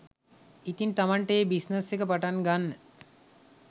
ඉතින් තමන්ට ඒ බිස්නස් එක පටන් ගන්න